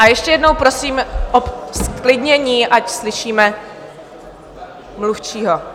A ještě jednou prosím o zklidnění, ať slyšíme mluvčího.